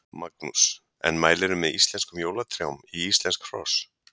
Magnús: En mælirðu með íslenskum jólatrjám í íslensk hross?